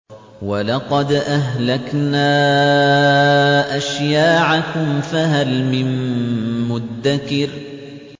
وَلَقَدْ أَهْلَكْنَا أَشْيَاعَكُمْ فَهَلْ مِن مُّدَّكِرٍ